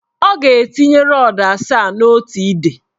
Ọ ga-etinye rọdụ asaa n' otu ide.